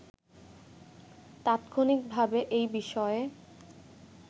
তাৎক্ষণিকভাবে এই বিষয়ে